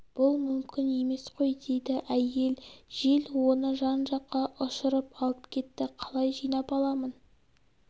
бұл мүмкін емес қой дейді әйел жел оны жан жаққа ұшырып алып кетті қалай жинап аламын